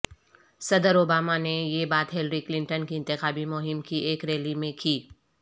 صدر اوباما نے یہ بات ہلری کلنٹن کی انتخابی مہم کی ایک ریلی میں کی